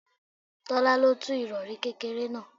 Tọ́lá lo tú irori kékeré náà.